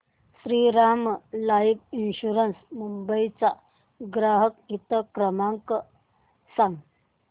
Shriram life insurance Mumbai चा ग्राहक हित क्रमांक सांगा